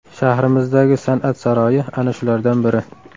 Shahrimizdagi san’at saroyi ana shulardan biri.